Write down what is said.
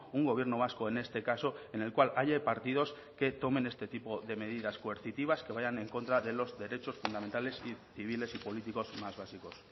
un gobierno vasco en este caso en el cual haya partidos que tomen este tipo de medidas coercitivas que vayan en contra de los derechos fundamentales y civiles y políticos más básicos